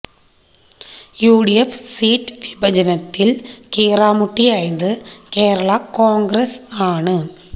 U D F seat വിഭജനത്തില് കീറാമുട്ടിയായത് കേരളാ കോണ്ഗ്രസ് ആണ്